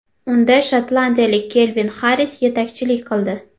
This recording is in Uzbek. Unda shotlandiyalik Kelvin Xarris yetakchilik qildi.